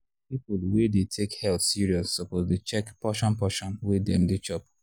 people wey dey take health serious suppose dey check portion portion wey dem dey chop.